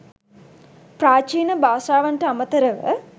ප්‍රාචීන භාෂාවන්ට අමතරව